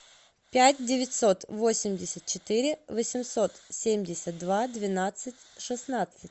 пять девятьсот восемьдесят четыре восемьсот семьдесят два двенадцать шестнадцать